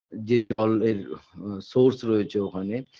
যে তরলের source রয়েছে ওখানে